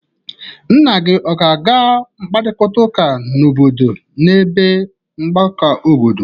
Nna gi ọ ga-aga mkparịtaụka obodo n'ebe mgbakọ obodo